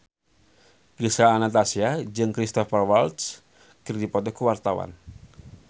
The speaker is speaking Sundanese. Gisel Anastasia jeung Cristhoper Waltz keur dipoto ku wartawan